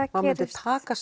taka